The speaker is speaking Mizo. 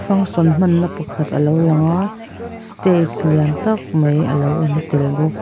function hmanna pakhat a lo lang a stage lian tak mai a lo lang tel bawk.